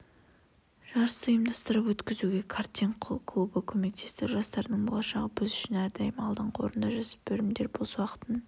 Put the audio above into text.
жарысты ұйымдастырып өткізуге картинг клубы көмектесті жастардың болашағы біз үшін әрдайым алдыңғы орында жасөспірімдер бос уақытын